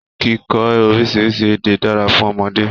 Kíkọ orísirísi èdè dára fún ọmọdé.